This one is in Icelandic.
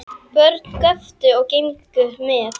Börn göptu og gengu með.